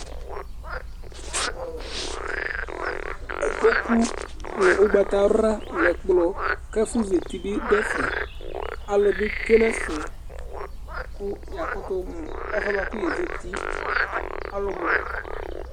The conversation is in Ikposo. kpokʊ nʊ ʊgbata nʊ ɛkplɔ kʊ ɛfʊzɛtɩbɩdʊɛfɛ alʊnɩtsʊénɛfɛ kʊ yakʊtʊmʊ ɛfʊɛkʊézɛtɩ